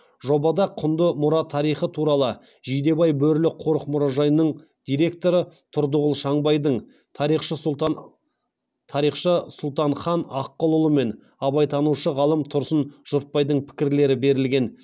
жобада құнды мұра тарихы туралы жидебай бөрілі қорық мұражайының директоры тұрдығұл шаңбайдың тарихшы сұлтан хан аққұлұлы мен абайтанушы ғалым тұрсын жұртбайдың пікірлері берілген